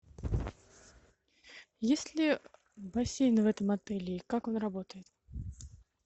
есть ли бассейн в этом отеле и как он работает